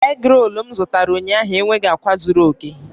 Egrol m zụtara ụnyaahụ enweghị akwa zuru oke